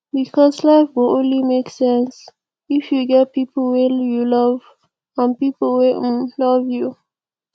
becos life go only make sense if you get pipo wey you love and wey um love you